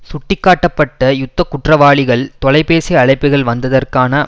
சுட்டிக்காட்டப்பட்ட யுத்த குற்றவாளிகள் தொலைபேசி அழைப்புகள் வந்ததற்கான